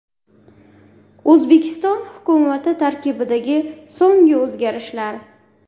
O‘zbekiston hukumati tarkibidagi so‘nggi o‘zgarishlar .